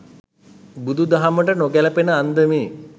බුදු දහමට නොගැලපෙන අන්දමේ